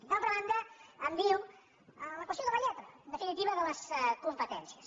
d’altra banda em diu la qüestió de la lletra en defini·tiva de les competències